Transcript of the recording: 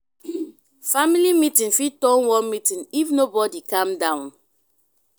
family meeting fit turn war meeting if nobodi calm down.